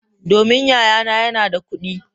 Domin yayana yana da kudi.